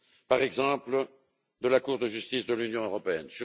par exemple de la Cour de justice de l'Union européenne.